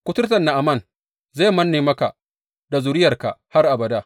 Kuturtar Na’aman zai manne maka da zuriyarka har abada.